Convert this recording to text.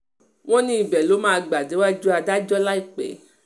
wọ́n ní ibẹ̀ ló máa máa gbà déwájú adájọ́ láìpẹ́